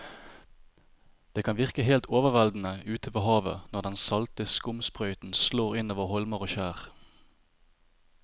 Det kan virke helt overveldende ute ved havet når den salte skumsprøyten slår innover holmer og skjær.